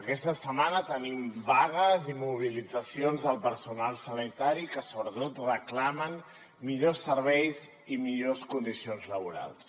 aquesta setmana tenim vagues i mobilitzacions del personal sanitari que sobretot reclama millors serveis i millors condicions laborals